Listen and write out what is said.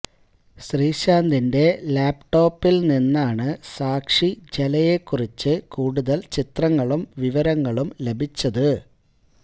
ശ്രീശാന്തിന്റെ ലാപ്ടോപ്പില് നിന്നാണ് സാക്ഷി ഝലയെ കുറിച്ച് കൂടുതല് ചിത്രങ്ങളും വിവരങ്ങളും ലഭിച്ചത്